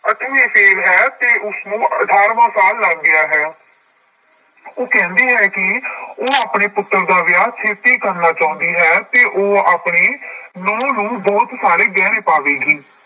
ਅੱਠਵੀ fail ਹੈ ਤੇ ਉਸਨੂੰ ਅਠਾਰਵਾਂ ਸਾਲ ਲੱਗ ਗਿਆ ਹੈ ਉਹ ਕਹਿੰਦੀ ਹੈ ਕਿ ਉਹ ਆਪਣੇ ਪੁੱਤਰ ਦਾ ਵਿਆਹ ਛੇਤੀ ਕਰਨਾ ਚਾਹੁੰਦੀ ਹੈ ਤੇ ਉਹ ਆਪਣੀ ਨਹੁੰ ਨੂੰ ਬਹੁਤ ਸਾਰੇ ਗਹਿਣੇ ਪਾਵੇਗੀ।